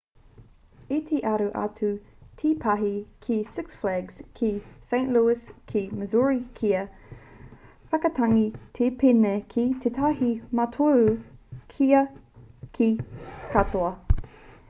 i te aro atu te pahi ki six flags ki st louis ki missouri kia whakatangi te pēne ki tētahi mātoru kua kī katoa